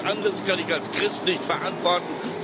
Was anderes kann ich als Christ nicht verantworten.